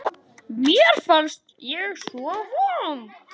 Mér fannst ég svo vond.